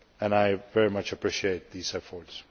I very much appreciate these efforts.